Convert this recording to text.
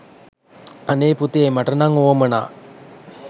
අනේ පුතේ මට නම් වුවමනා